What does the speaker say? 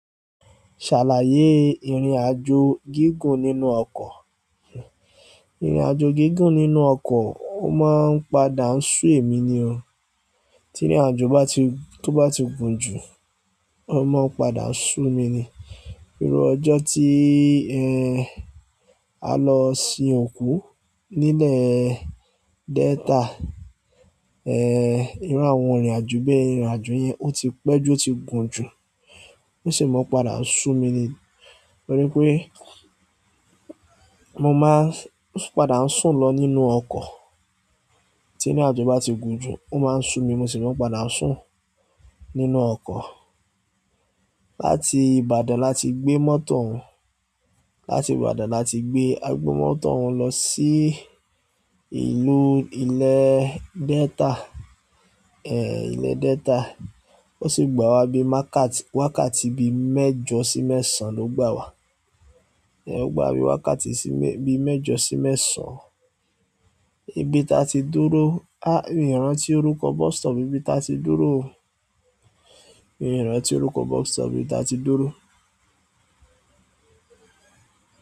Ṣàlàyé ìrìnàjò gígùn nínú ọkọ̀. Ìrìnàjò gígùn nínú ọkọ̀, ó máa ń padà ń sú èmi ni o. Tí ìrìnàjò bá ti, tó bá ti gùn jù, ó máa ń padà ń sú mi ni. Pẹ̀lú ọjọ́ tí, ẹ́, a lọ sin òkú nílẹ̀ Delta. Ẹ́, irú àwọn ìrìnàjò bẹ́ẹ̀. Ìrìnàjò yẹn ó ti pẹ́ jù, ó ti gùn jù, ó sì máa ń padà ń sú mi ni. Torí pé mo máa ń padà ń sùn lọ nínú ọkọ̀. Tí ìrìnàjò bá ti gùn jù, ó máa ń sú mi, mo sì máa ń padà ń sùn nínú ọkọ̀. Láti Ìbàdàn láti gbé mọ́tò ohun. Láti Ibadan láti gbe mọ́tò ohun a gbe oun lo si ìlú ile delta ẹ̀, ilẹ̀ Delta. Ó sì gbà wá bí i wákà wákàtí bi méjọ sí mẹ́sàn-án ló gbà wá. O gba wa ni wákàtí mẹ́jọ si mẹ́sàn ibi ti a ti dúró ah mi o rántí busstop ibi ti a ti dúró o. Ìran tí orúkọ bọ́sítọ̀pù ibi tí a ti dúró.